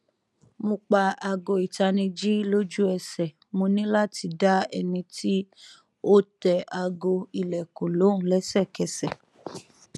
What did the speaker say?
mo pa aago itaniji loju ẹsẹ mo ni lati da ẹni ti o tẹ aago ilẹkun lohun lésèkẹsè